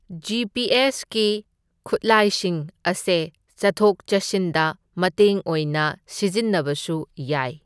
G P ꯑꯦꯁꯀꯤ ꯈꯨꯠꯂꯥꯏꯁꯤꯡ ꯑꯁꯦ ꯆꯠꯊꯣꯛ ꯆꯠꯁꯤꯟꯗ ꯃꯇꯦꯡ ꯑꯣꯏꯅ ꯁꯤꯖꯤꯟꯅꯕꯁꯨ ꯌꯥꯏ꯫